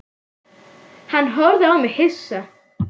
Hann horfði á mig hissa.